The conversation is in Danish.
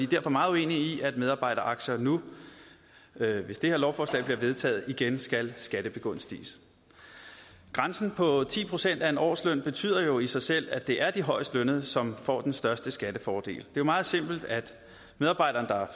derfor meget uenige i at medarbejderaktier nu hvis det her lovforslag bliver vedtaget igen skal skattebegunstiges grænsen på ti procent af en årsløn betyder jo i sig selv at det er de højestlønnede som får den største skattefordel det er meget simpelt at medarbejderen der